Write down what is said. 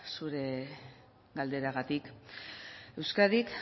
zure galderagatik euskadik